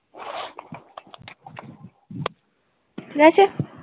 ঠিক আছে